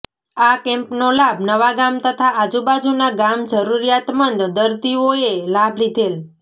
આ કેમ્પનો લાભ નવાગામ તથા આજુબાજુના ગામ જરૂરીયાત મંદ દર્દીઓએ લાભ લીધેલ